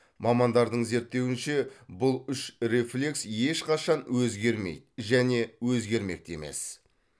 мамандардың зерттеуінше бұл үш рефлекс ешқашан өзгермейді және өзгермек те емес